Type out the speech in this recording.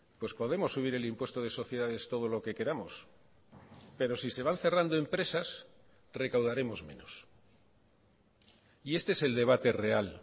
pues podemos subir el impuesto de sociedades todo lo que queramos pero si se van cerrando empresas recaudaremos menos y este es el debate real